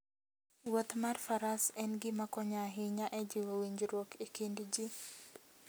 Wuoth mar faras en gima konyo ahinya e jiwo winjruok e kind ji.